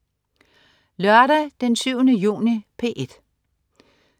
Lørdag den 7. juni - P1: